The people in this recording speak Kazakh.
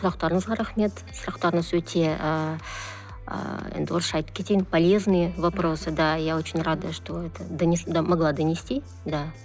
сұрақтарыңызға рахмет сұрақтарыңыз өте ыыы енді орысша айтып кетейін полезные вопросы да я очень рада что это могла донести да